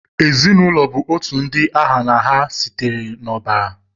Ezinụlọ bụ otu ndị ha na ha sitere n'ọbara.